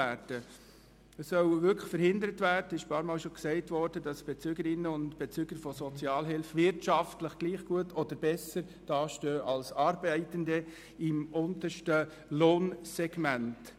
Es soll wirklich verhindert werden, dass Bezügerinnen und Bezüger von Sozialhilfe wirtschaftlich gleich gut oder sogar besser dastehen als Arbeitende im untersten Lohnsegment.